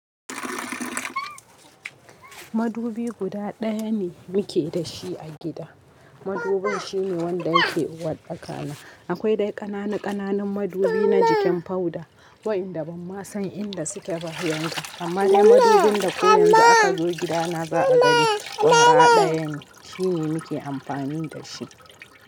Madubi guda ɗaya ne muke da shi a gida. Madubin shine wanda yake uwarɗaka na. Akwai dai ƙananu ƙananun madubi na jikin powder waɗanda ban ma san inda suke ba yanzu amma dai madubin da ko yanzu aka zo gidana za a gani kwara ɗaya ne shine muke amfani da shi.